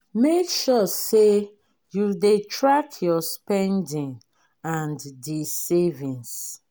make sure sey you dey track your spending and di savings